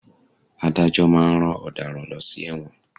Adájọ́ máa ń rán ọ̀daràn lọ sí ẹ̀wọ̀n.